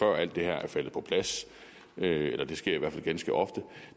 alt det her er faldet på plads og det sker i hvert fald ganske ofte